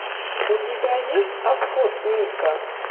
у тебя есть обход мика